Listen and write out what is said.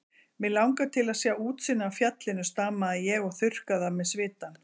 Mig langar til að sjá útsýnið af fjallinu stamaði ég og þurrkaði af mér svitann.